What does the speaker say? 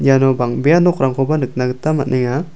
iano bang·bea nokrangkoba nikna gita man·enga.